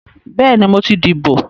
Bẹ́ẹ̀ni, mo ti dìbò